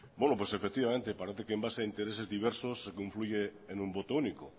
efectivamente parece que en base a intereses diversos confluye en un voto único